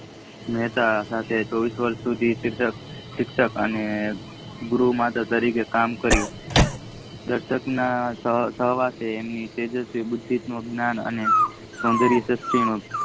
મહેતા સાથે ચોવીસ વર્ષ સુધી શિક્ષણ અને ગુરુ તરીકે કામ કરીયુ પસંત્તા સવારે તેજસ્વી ભુદ્ધિનો જ્ઞાન સોદરીયા સુષ્ટીનો